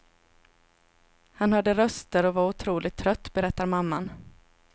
Han hörde röster och var otroligt trött, berättar mammman.